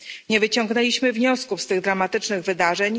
Nie wyciągnęliśmy wniosków z tych dramatycznych wydarzeń.